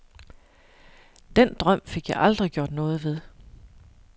Den drøm fik jeg aldrig gjort noget ved.